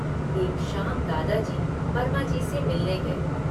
एक शाम दादा जी वर्माजी से मिलने गए।